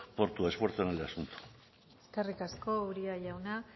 por tu esfuerzo en el asunto eskerrik asko uria jauna